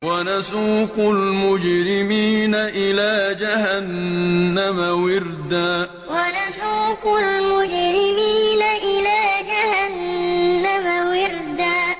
وَنَسُوقُ الْمُجْرِمِينَ إِلَىٰ جَهَنَّمَ وِرْدًا وَنَسُوقُ الْمُجْرِمِينَ إِلَىٰ جَهَنَّمَ وِرْدًا